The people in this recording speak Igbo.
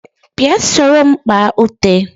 Bia soro m kpá ute